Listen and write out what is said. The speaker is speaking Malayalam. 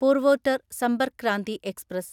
പൂർവോട്ടർ സമ്പർക്ക് ക്രാന്തി എക്സ്പ്രസ്